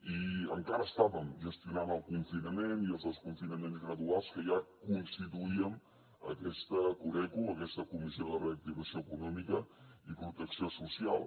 i encara estàvem gestionant el confinament i els desconfinaments graduals que ja constituíem aquesta coreco aquesta comissió de reactivació econòmica i protecció social